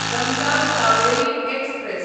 Ganga Kaveri express